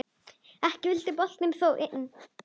Ekki vildi boltinn þó inn.